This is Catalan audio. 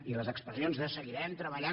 i les expressions de seguirem treballant